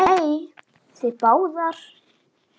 Nei, þið báðar.